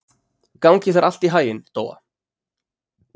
Gangi þér allt í haginn, Dóa.